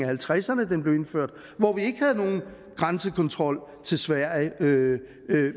halvtredserne at den blev indført hvor vi ikke havde nogen grænsekontrol til sverige